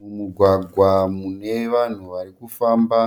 Mumugwagwa mune vanhu vari kufamba.